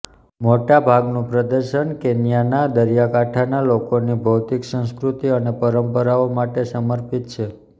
મોટા ભાગનું પ્રદર્શન કેન્યાના દરિયાકાંઠાના લોકોની ભૌતિક સંસ્કૃતિ અને પરંપરાઓ માટે સમર્પિત છે